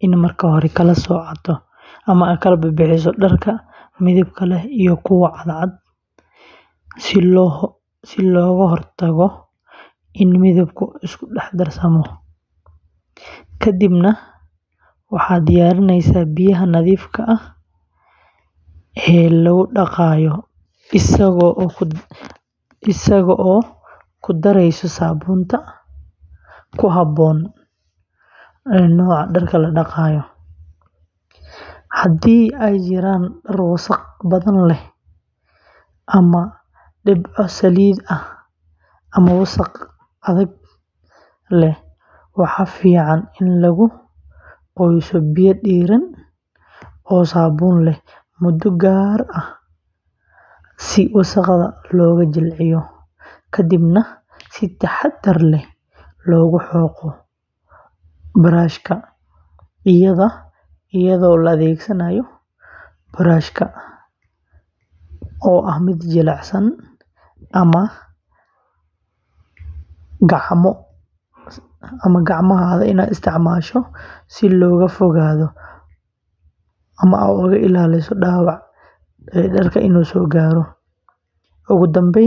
inuu marka hore kala sooco dharka midabka leh iyo kuwa cadcad si looga hortago in midabku isku dhex darsamo, ka dibna uu diyaariyo biyaha nadiifka ah ee lagu dhaqayo isagoo ku daraya saabuun ku habboon nooca dharka la dhaqayo; haddii ay jiraan dhar wasakh badan leh ama leh dhibco saliid ah ama wasakh adag, waxaa fiican in lagu qoyso biyo diirran oo saabuun leh muddo gaar ah si wasakhda looga jilciyo, ka dibna si taxaddar leh loogu xoqo iyadoo la adeegsanayo burush jilicsan ama gacmo si looga fogaado dhaawac ka soo gaara dharka.